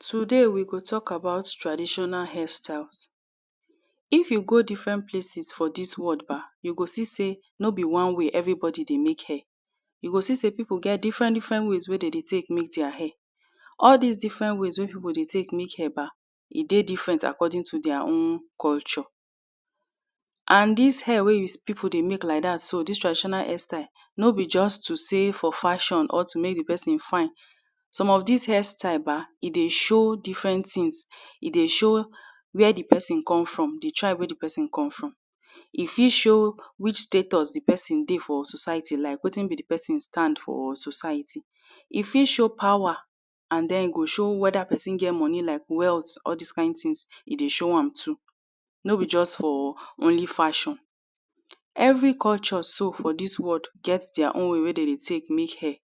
Today we go tok about traditional hairstyles If you go different places for dis world ba, you go see sey no be one way everybody dey make hair You go see sey pipu get different different ways wey dem dey take make their hair. All dis different ways wey pipu dey take make hair ba e dey different according to their own culture And dis hair wey pipu dey make like dat, dis traditional hairstyle, no be just to sey for fashion or to make di pesin fine Some of dis hairstyle ba, e dey show different tins. E dey show where di pesin come from, di tribe wey di pesin come from. E fit show which status di pesin dey for society like wetin be di pesin stand for society E fit show power and then e go show whether pesin get money like wealth, all dis kind tin, e dey show am too No be just for only fashion Every culture so for dis world get their own way wey dem dey take make hair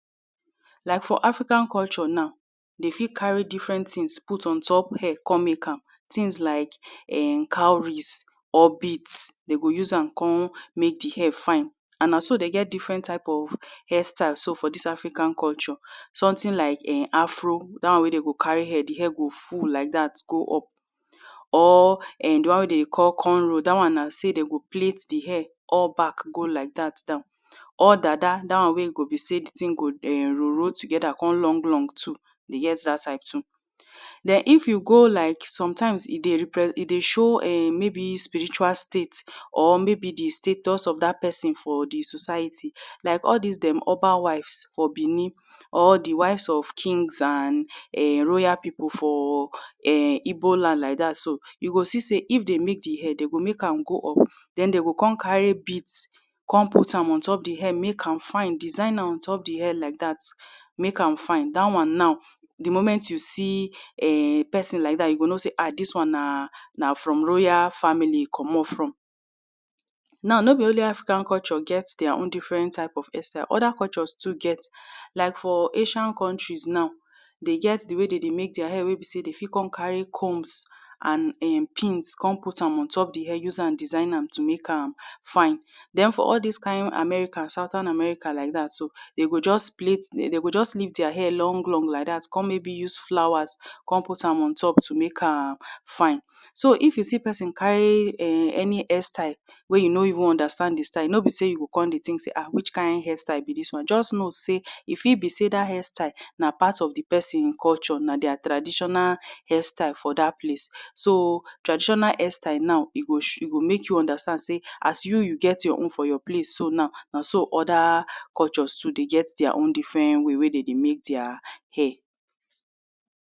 Like for African culture now, dey fit carry different tins put on top hair come make am - things like um cowries or beads, dem go use am come make di hair fine and na so de get different type of hairstyle so for dis African culture something like um Afro, dat one wey dem go carry hair di hair go full like dat go up or um di one wey dem de call cornrow, dat one na sey dem go plait di hair all back go like dat down or Dada, dat one wey e go be sey d tin go roll roll together come long long too, e get dat type too Then if you go like sometimes e dey repre- e dey show um maybe spiritual state or maybe di status of dat pesin for di society, like all dis dem oba wives for Benin or di wives of kings and um royal pipu for um Ibo land like dat so You go see sey if dem make di hair, dem go make am go up, then dem go come carry beads come put am on top di hair make am fine, design am on top di hair like dat make am fine. Dat one now, di moment you see um pesin like dat you go know sey, Ah! dis one na na from royal family e comot from Now no be only African culture get their own different types of hairstyle. Oda cultures too get like for Asian countries now, dey get di way dem de make their hair wey sey de fit come carry combs and um pins come put am on top di hair use am design am to make am fine. Then for all dis kind America, Southern America like dat so dem go just plait, dem go just leave their hair long long like dat, come maybe use flowers come put am on top to make am fine. So if you see pesin carry um any hairstyle wey you no even understand di style, no be sey you go come de tink sey, Ah "Which kind hairstyle be dis one?" Just know sey e fit be sey dat hairstyle na part of di pesin culture, na their traditional hairstle for dat place. So, traditional hairstyle now, e go e go make you understand sey as you, you get your own for your place so now na so oda cultures too dey get their own different way wey dem de make their hair